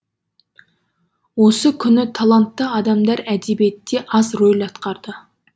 осы күні талантты адамдар әдебиетте аз рөл атқарды